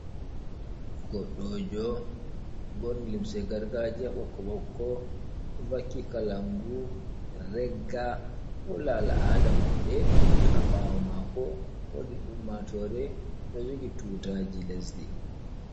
Goɗɗo jo ɓorni limce gargajiya ɓokko ɓokko, oɗo vaki kalangu regga holla al'ada maɓɓe, ha ɓawo mako wodi ummatore ɗo jogi tutaji lesdi.